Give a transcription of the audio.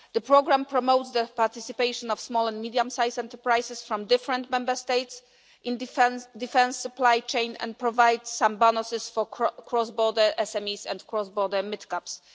The programme promotes the participation of small and medium sized enterprises from different Member States in the defence supply chain and provides some bonuses for cross border SMEs and cross border mid caps.